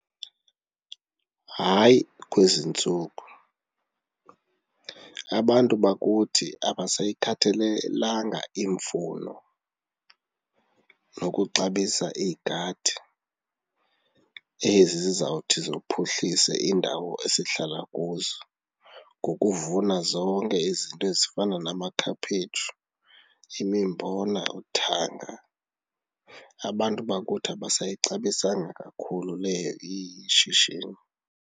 Hayi, kwezi ntsuku, abantu bakuthi akasayikhathalelanga imfuno nokuxabisa igadi, ezi zizawuthi ziphuhlise iindawo esihlala kuzo ngokuvuna zonke izinto ezifana namakhaphetshu, imimbona, uthanga. Abantu bakuthi abasayixabisanga kakhulu leyo ishishini.